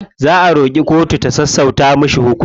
Za a roƙi kotu ta sassauta mishi hukunci.